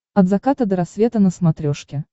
от заката до рассвета на смотрешке